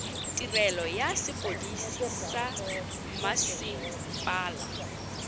tirelo ya sepodisi sa mmasepala